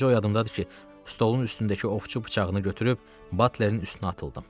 Bircə o yadımdadır ki, stolun üstündəki ovçu bıçağını götürüb Butlerin üstünə atıldım.